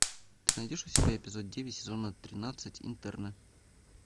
ты найдешь у себя эпизод девять сезона тринадцать интерны